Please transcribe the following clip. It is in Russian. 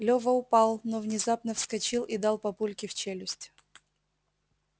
лёва упал но внезапно вскочил и дал папульке в челюсть